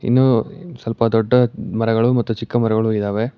ಇನ್ನು ಈ ಸ್ವಲ್ಪ ದೊಡ್ಡ ಮರಗಳು ಮತ್ತು ಚಿಕ್ಕ ಮರಗಳು ಇದಾವೆ.